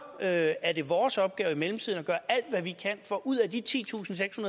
er er det vores opgave i mellemtiden at gøre alt hvad vi kan for ud af de titusinde